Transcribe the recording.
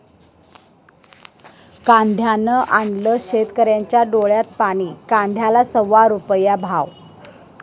कांद्यानं आणलं शेतकऱ्यांच्या डोळ्यात पाणी, कांद्याला सव्वा रुपया भाव!